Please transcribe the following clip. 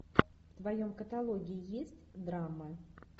в твоем каталоге есть драма